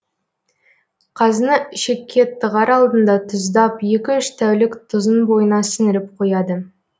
қазыны ішекке тығар алдында тұздап екі үш тәулік тұзын бойына сіңіріп қояды